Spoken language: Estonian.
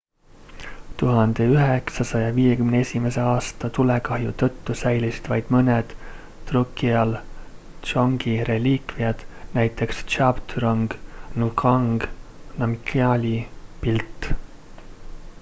1951 aasta tulekahju tõttu säilisid vaid mõned drukgyal dzongi reliikviad näiteks zhabdrung ngawang namgyali pilt